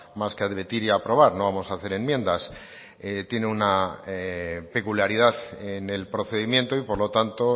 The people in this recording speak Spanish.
más que a debatir y a aprobar no vamos a hacer enmiendas tiene una peculiaridad en el procedimiento y por lo tanto